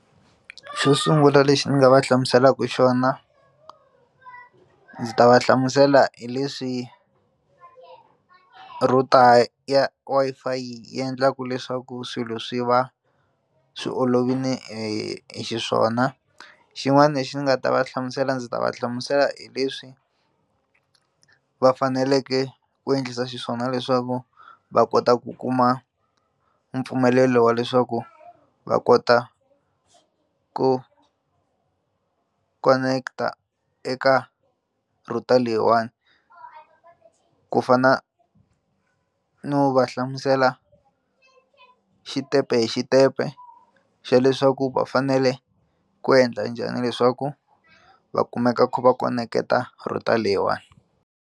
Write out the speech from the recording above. Xo sungula lexi ndzi nga va hlamuselaka xona ndzi ta va hlamusela hi leswi router ya Wi-Fi yi endlaka leswaku swilo swi va swi olovile xiswona xin'wana lexi ndzi nga ta va hlamusela ndzi ta va hlamusela hi leswi va faneleke ku endlisa xiswona leswaku va kota ku kuma mpfumelelo wa leswaku va kota ku koneketa eka router leyiwani ku fana no va hlamusela xitempe hi xitempe xa leswaku va fanele ku endla njhani leswaku va kumeka va kha va koneketa router leyiwani.